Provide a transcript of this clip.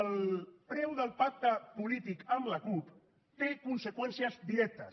el preu del pacte polític amb la cup té conseqüències directes